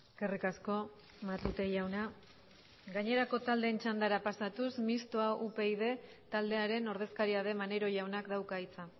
eskerrik asko matute jauna gainerako taldeen txandara pasatuz mistoa upyd taldearen ordezkaria den maneiro jaunak dauka hitza